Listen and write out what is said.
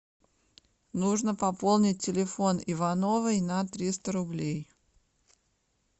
нужно пополнить телефон ивановой на триста рублей